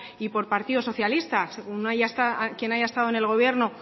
y por partido socialista según quién haya estado en el gobierno